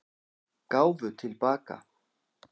Gáfu til baka